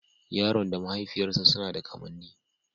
Yaron da mahaifiyarsa suna da kamanni